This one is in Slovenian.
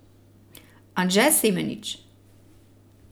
Anže Semenič.